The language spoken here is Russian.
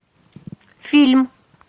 фильм